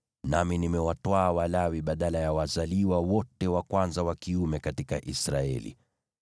Nami nimewatwaa Walawi badala ya wazaliwa wote wa kwanza wa kiume katika Israeli.